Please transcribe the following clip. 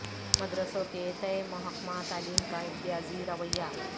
مدرسو ں کے تئیں محکمہ تعلیم کا امتیازی رویہ